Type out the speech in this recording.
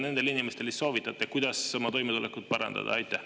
Mida te soovitate nendele inimestele, kuidas oma toimetulekut parandada?